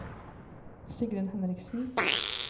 Sigrunn Henriksen